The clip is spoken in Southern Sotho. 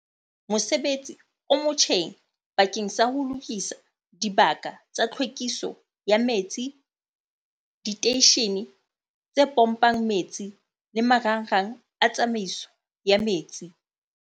Mosebetsi o motjheng bakeng sa ho lokisa dibaka tsa tlhwekiso ya metsi, diteishene tse pompang metsi le marangrang a tsamaiso ya metsi.